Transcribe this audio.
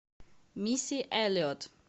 мисси элиот